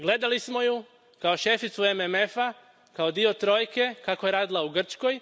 Gledali smo ju kao šeficu MMF a, kao dio trojke kako je radila u Grčkoj.